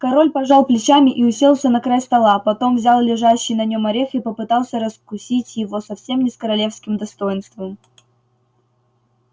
король пожал плечами и уселся на край стола потом взял лежащий на нем орех и попытался раскусить его совсем не с королевским достоинством